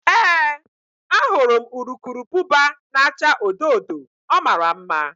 Ee, ahụrụ m urukurubụba na-acha odo odo, ọ mara mma